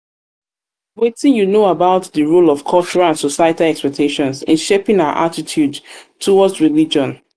wetin you know about di role of cultural and societal expectations in shaping our attitude towards religion?